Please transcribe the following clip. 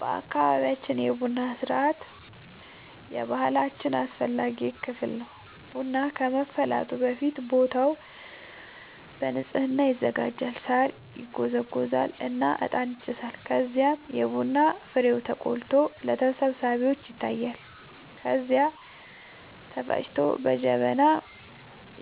በአካባቢያችን የቡና ሥርዓት የባህላችን አስፈላጊ ክፍል ነው። ቡናው ከመፍላቱ በፊት ቦታው በንጽህና ይዘጋጃል፣ ሳር ይጎዘጎዛል እና እጣን ይጨሳል። ከዚያም የቡና ፍሬው ተቆልቶ ለተሰብሳቢዎች ይታያል፣ ከዚያ ተፈጭቶ በጀበና